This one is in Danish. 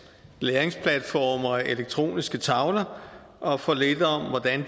læringsplatforme og elektroniske tavler og for lidt om hvordan